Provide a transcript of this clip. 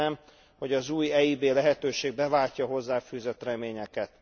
Remélem, hogy az új EIB lehetőség beváltja a hozzáfűzött reményeket.